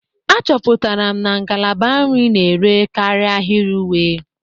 Achọpụtara m na ngalaba nri na-ere karịa ahịrị uwe